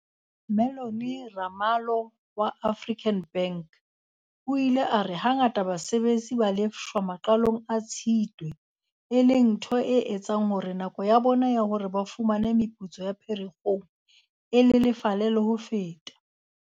Mellony Ramalho wa African Bank o ile a re hangata basebetsi ba lefshwa maqalong a Tshitwe, e leng ntho e etsang hore nako ya bona ya hore ba fumane meputso ya Pherekgong e lelefale le ho feta.